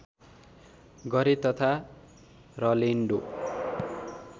गरे तथा रलेन्डो